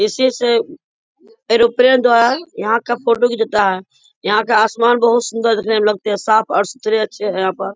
इसी से एयरोप्लेन द्वारा यहाँ का फोटो घिचाता है। यहाँ का आसमान बहुत सुन्दर देखने में लगते हैं साफ़ और सुथरे अच्छे हैं यहाँ पर।